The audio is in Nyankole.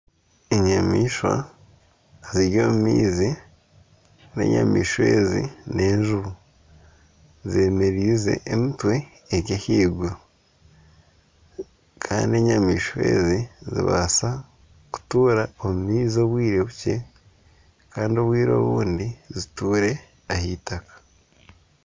Enyamaishwa ziri omu maizi. Enyamaishwa ezi n'enjubu. Zemereize emitwe eri ahaiguru kandi enyamaishwa ezi nizibaasa kutuura omu maizi obwire bukye kandi obwire obundi zituura aha itaka.